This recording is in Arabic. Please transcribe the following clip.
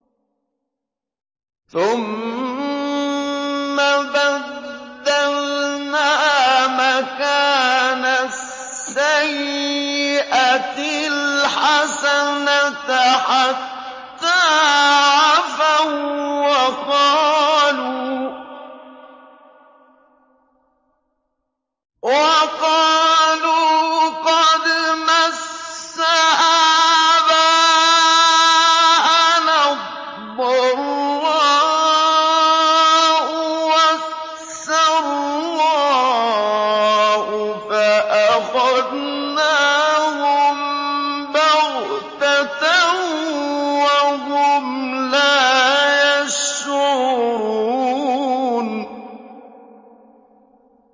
ثُمَّ بَدَّلْنَا مَكَانَ السَّيِّئَةِ الْحَسَنَةَ حَتَّىٰ عَفَوا وَّقَالُوا قَدْ مَسَّ آبَاءَنَا الضَّرَّاءُ وَالسَّرَّاءُ فَأَخَذْنَاهُم بَغْتَةً وَهُمْ لَا يَشْعُرُونَ